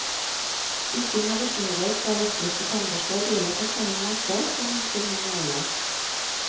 Bytting av børstehoder på elektriske tannbørster gjelder på samme måte som hos de manuelle.